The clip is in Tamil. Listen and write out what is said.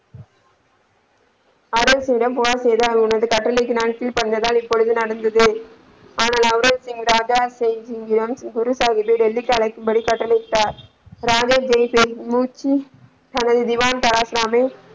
அரசிடம் புகார் செய்து உனது கட்டளைக்கு நான் கீழ்படிந்ததால் இப்பொழுது நான் உங்களுக்க குரு சாஹிப்பை டெல்லிக்கு அழைக்கும் படி கட்டளை இட்டார் ராம்ராஜ் ஜெய தனது திவான ,